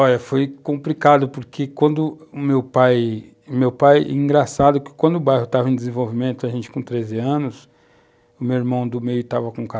Olha, foi complicado, porque quando o meu pai...Meu pai, engraçado que quando o bairro estava em desenvolvimento, a gente com 13 anos, o meu irmão do meio estava com